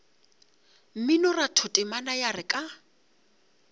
mminoratho temana ya re ka